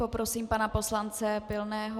Poprosím pana poslance Pilného.